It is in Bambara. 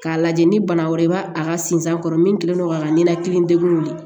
K'a lajɛ ni bana wɛrɛ i b'a a ka sinzan kɔrɔ min kɛlen do k'a ka ninakilidegun wuli